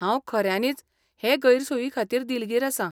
हांव खऱ्यानीच हे गैरसोयीखातीर दिलगीर आसां.